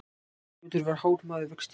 arnljótur var hár maður vexti